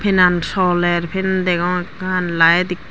penan soler fan degong ekkan laet ikk.